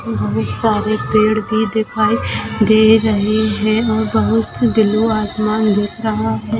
बहुत सारे पेड़ भी दिखाई दे रहे है और बहुत ही ब्लू आसमान दिख रहा है।